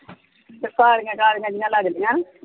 ਤੇ ਕਾਲੀਆਂ ਜਿਹੀਆਂ ਲਗਦੀਆਂ।